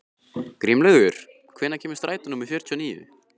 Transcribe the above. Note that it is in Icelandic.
Grímlaugur, hvenær kemur strætó númer fjörutíu og níu?